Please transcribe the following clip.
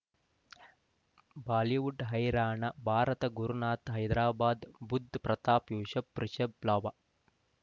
Bollywood ಹೈರಾಣ ಭಾರತ ಗುರುನಾಥ ಹೈದರಾಬಾದ್ ಬುಧ್ ಪ್ರತಾಪ್ ಯೂಸುಫ್ ರಿಷಬ್ ಲಾಭ